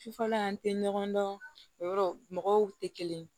Sufɛla an tɛ ɲɔgɔn dɔn o yɔrɔ mɔgɔw tɛ kelen ye